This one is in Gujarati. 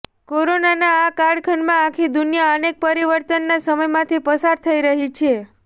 કોરોનાના આ કાળખંડમાં આખી દુનયા અનેક પરિવર્તનના સમયમાંથી પસાર થઈ રહી છે